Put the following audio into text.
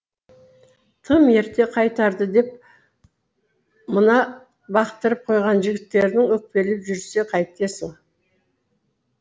тым ерте қайтарды деп мына бақтырып қойған жігіттерің өкпелеп жүрсе қайтесің